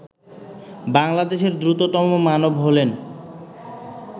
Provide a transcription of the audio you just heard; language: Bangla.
বাংলাদেশের দ্রুততম মানব হলেন